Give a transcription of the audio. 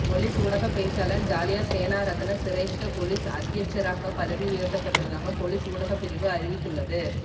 police ஊடகப் பேச்சாளர் ஜாலிய சேனாரத்ன சிரேஷ்ட பொலிஸ் அத்தியட்சகராக பதவி உயர்த்தப்பட்டுள்ளதாக பொலிஸ் ஊடகப்பிரிவு அறிவித்துள்ளது